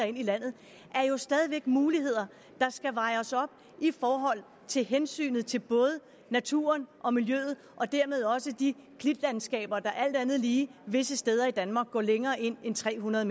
ind i landet jo stadig muligheder der skal vejes op i forhold til hensynet til både naturen og miljøet og dermed også de klitlandskaber der alt andet lige visse steder i danmark går længere ind end tre hundrede